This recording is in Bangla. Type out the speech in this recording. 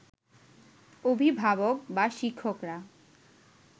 অভিভাবক বা শিক্ষকরা